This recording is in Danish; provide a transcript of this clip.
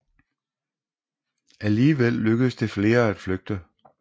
Alligevel lykkedes flere i at flygte